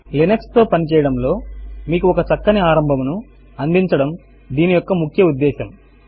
Linux తో పని చేయడము లో మీకు ఒక చక్కని ఆరంభమును అందించడము దీని యొక్క ముఖ్య ఉద్దేశ్యము